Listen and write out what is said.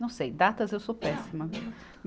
Não sei, datas eu sou péssima.